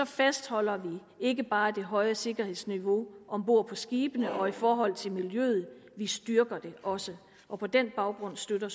fastholder vi ikke bare det høje sikkerhedsniveau om bord på skibene og i forhold til miljøet vi styrker det også og på den baggrund støtter